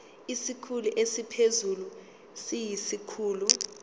isikhulu esiphezulu siyisikhulu